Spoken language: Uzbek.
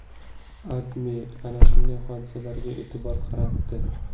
AdMe ana shunday hodisalarga e’tibor qaratdi .